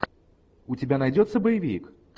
у тебя найдется боевик